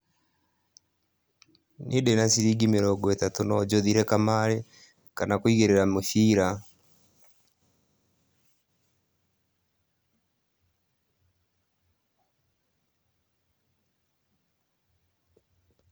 Niĩ ndĩna ciringi mirongo ĩtatũ no njũthire kamarĩ, kana kũigĩrĩra mũbira.